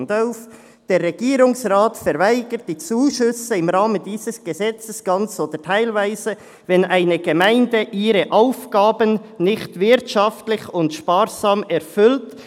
«Der Regierungsrat verweigert die Zuschüsse im Rahmen dieses Gesetzes ganz oder teilweise, wenn eine Gemeinde ihre Aufgaben nicht wirtschaftlich und sparsam erfüllt.